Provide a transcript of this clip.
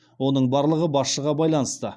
оның барлығы басшыға байланысты